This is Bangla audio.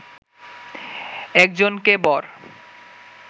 একজনকে বর